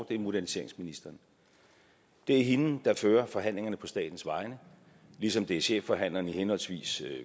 det er moderniseringsministeren det er hende der fører forhandlingerne på statens vegne ligesom det er chefforhandleren i henholdsvis